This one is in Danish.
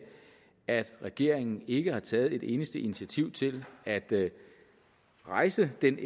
at regeringen ikke har taget et eneste initiativ til at rejse den